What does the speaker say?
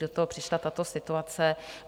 Do toho přišla tato situace.